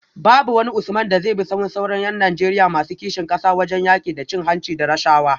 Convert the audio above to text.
Babu wani Usman da zai bi sahun sauran ’yan Najeriya masu kishin kasa wajen yaki da cin hanci da rashawa